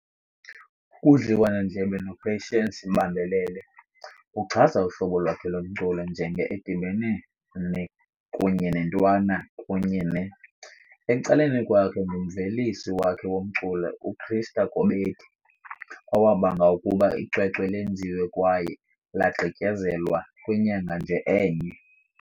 Kudliwanondlebe noPatience Bambalele ", uchaza uhlobo lwakhe lomculo njenge edibene ne kunye nentwana kunye ne . Ecaleni kwakhe ngumvelisi wakhe womculo uChrister Kobedi, owabanga ukuba icwecwe lenziwe kwaye lagqityezelwa kwinyanga nje enye.